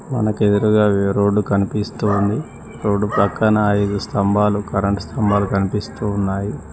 మనకు ఎదురుగా రోడ్డు కనిపిస్తోంది రోడ్డు పక్కన ఐదు స్తంభాలు కరెంటు స్తంభాలు కనిపిస్తూ ఉన్నాయి.